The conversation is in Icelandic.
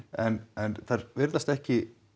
en en virðast ekki